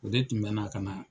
O de tun bɛ na ka na